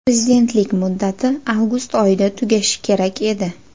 Prezidentlik muddati avgust oyida tugashi kerak edi.